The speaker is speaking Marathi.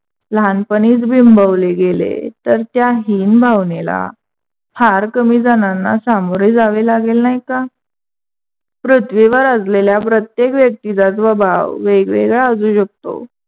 लहानपणीच बिंबवले गेले तर त्याही बिंबवणेला फार कमी जणांना सामोरे जावे लागेल नाही का? पृथ्वीवर असलेल्या प्रत्येक व्यक्तीचा स्वभाव वेगवेगळा असू शकतो.